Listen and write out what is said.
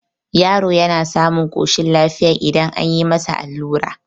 yaro yana samun koshin lafiya idan an yi masa allura